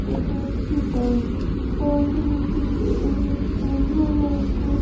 এটা একটি park park টি দেখতে বে বেশ সুন্দর লাগছে।